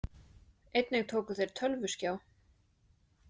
Einnig tóku þeir tölvuskjá